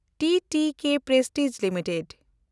TTK Prestige limited